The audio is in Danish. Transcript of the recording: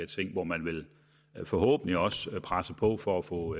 ting hvor man forhåbentlig også presser på for at få